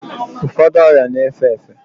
Ụfọdụ ọrịa na-efe efe